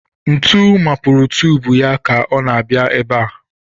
Ntu mapurù tùbù ya ka ọ na-abịa ebe a